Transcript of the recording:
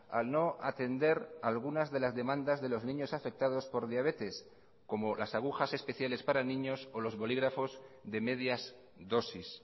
al no atender algunas de las demandas de los niños afectados por diabetes como las agujas especiales para niños o los bolígrafos de medias dosis